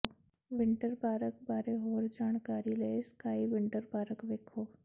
winter Park ਬਾਰੇ ਹੋਰ ਜਾਣਕਾਰੀ ਲਈ ਸਕਾਈ ਵਿੰਟਰ ਪਾਰਕ ਵੇਖੋ